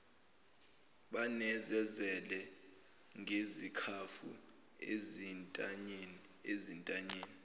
banezezele ngezikhafu ezintanyeni